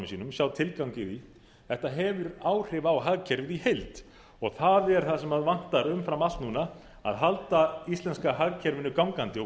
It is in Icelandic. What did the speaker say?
sínum sjá tilgang í því þetta hefur áhrif á hagkerfið í heild og það er það sem vantar umfram allt núna að halda íslenska hagkerfinu gangandi og